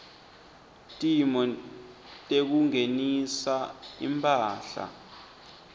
timo tekungenisa imphahla